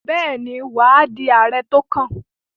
Bẹ́ẹ̀ni, wà á di Ààrẹ tó kàn.